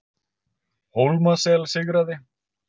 Hólmasel sigraði